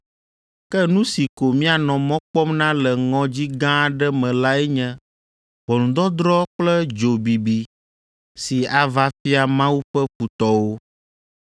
ke nu si ko míanɔ mɔ kpɔm na le ŋɔdzi gã aɖe me lae nye ʋɔnudɔdrɔ̃ kple dzo bibi si ava fia Mawu ƒe futɔwo.